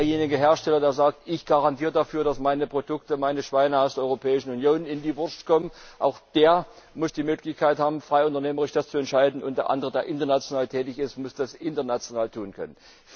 Derjenige Hersteller, der sagt, ich garantiere dafür, dass meine Produkte, meine Schweine aus der Europäischen Union in die Wurst kommen, muss auch die Möglichkeit haben, das frei unternehmerisch zu entscheiden, und der andere, der international tätig ist, muss das international tun können.